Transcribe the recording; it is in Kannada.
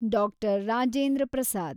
ಡಾಕ್ಟರ್. ರಾಜೇಂದ್ರ ಪ್ರಸಾದ್